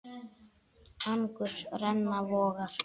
Angurs renna vogar.